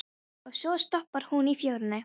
Og svo stoppar hún í fjörunni.